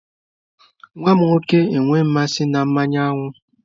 Nwa m nwoke enweghị mmasị na mmanụ aṅụ.